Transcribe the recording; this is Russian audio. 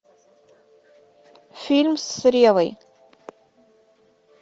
фильм с реввой